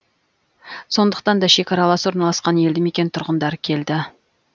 сондықтан тек шекаралас орналасқан елді мекен тұрғындары келді